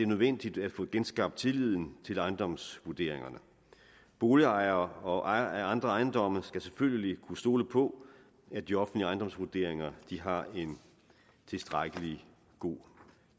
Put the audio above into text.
nødvendigt at få genskabt tilliden til ejendomsvurderingerne boligejere og ejere af andre ejendomme skal selvfølgelig kunne stole på at de offentlige ejendomsvurderinger har en tilstrækkelig god